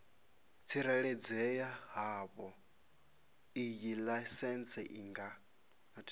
tsireledzea havhoiyi laisentsi i nga